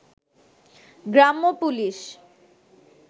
গ্রাম্য পুলিশ